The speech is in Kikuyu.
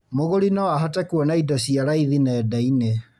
Mũgũri no ahote kwona indo cia raithi nenda-inĩ